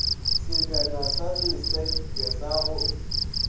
sebjana sa lesenke sa go